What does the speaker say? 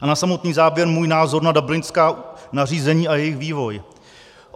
A na samotný závěr můj názor na dublinská nařízení a jejich vývoj.